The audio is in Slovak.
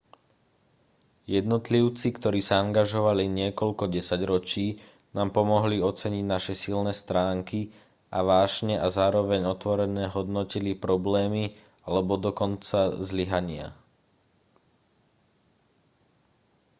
jednotlivci ktorí sa angažovali niekoľko desaťročí nám pomohli oceniť naše silné stránky a vášne a zároveň otvorene hodnotili problémy alebo dokonca zlyhania